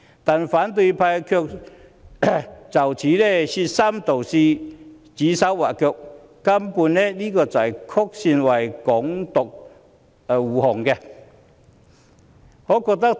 不過，反對派卻就此說三道四，指手劃腳，根本是曲線為"港獨"護航。